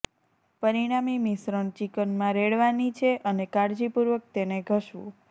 પરિણામી મિશ્રણ ચિકન માં રેડવાની છે અને કાળજીપૂર્વક તેને ઘસવું